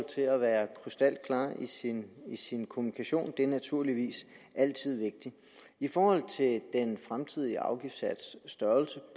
til at være krystalklar i sin i sin kommunikation det er naturligvis altid vigtigt i forhold til den fremtidige afgiftssats størrelse